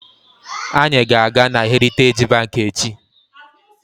Anyị ga-aga na heritaji banki echi.